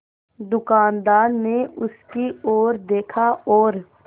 दुकानदार ने उसकी ओर देखा और